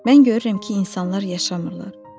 Mən görürəm ki, insanlar yaşamırlar.